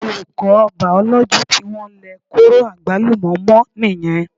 Olùkọ́ Bàòlójì tí wọ́n lẹ kóró àgbálùmọ́ mọ́ nìyẹn